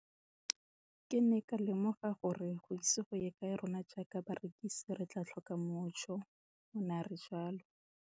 Ke ne ka lemoga gore go ise go ye kae rona jaaka barekise re tla tlhoka mojo, o ne a re jalo.